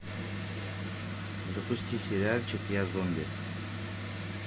запусти сериальчик я зомби